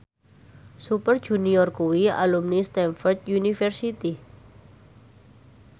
Super Junior kuwi alumni Stamford University